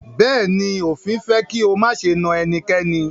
Bẹ̀ẹ́ni, òfin fẹ́ kí o máṣe na ẹnikẹ́ni.